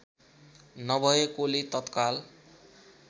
नभएकोले तत्काल